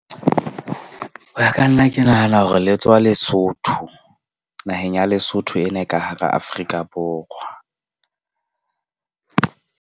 Ho ya ka nna ke nahana hore le tswa Lesotho. Naheng ya Lesotho ena e ka hara Afrika Borwa.